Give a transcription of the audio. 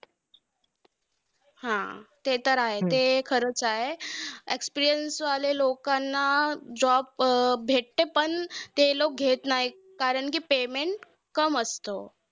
हा! ते तर आहे, ते खरंच आहे. experience वाले लोकांना job भेटते, पण ते लोकं घेत नाही. कारण कि payment कम असतं.